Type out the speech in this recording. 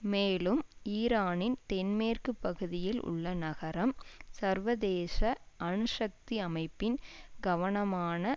மேலும் ஈரானின் தென்மேற்கு பகுதியில் உள்ள நகரம் சர்வதேச அணுசக்தி அமைப்பின் கவனமான